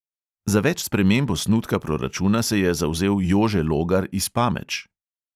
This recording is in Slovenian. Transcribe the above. Za več sprememb osnutka proračuna se je zavzel jože logar iz pameč.